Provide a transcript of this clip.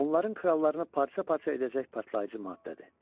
Onların krallarına parça-parça edəcək partlayıcı maddədir.